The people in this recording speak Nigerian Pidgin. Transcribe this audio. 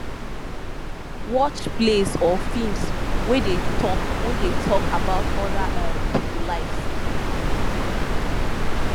watch plays or films wey dey talk wey dey talk about oda um pipo lives